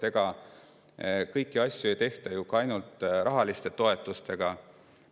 Ega kõiki asju ei tehta ju ainult rahaliste toetuste abiga.